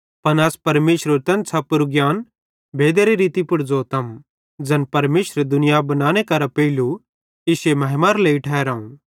पन अस परमेशरेरू तैन छ़पोरू ज्ञान भेदेरे रीती पुड़ ज़ोतम ज़ैन परमेशरे दुनिया बनाने करां पेइलू इश्शे महिमारे लेइ ठहराव